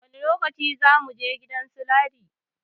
Wani lokaci za muje gidan su Ladi?